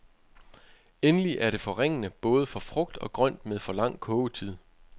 Endelig er det forringende både for frugt og grønt med for lang kogetid.